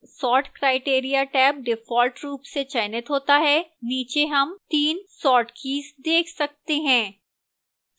sort criteria tab default रूप से चयनित होता है नीचे हम तीन sort keys देख सकते हैं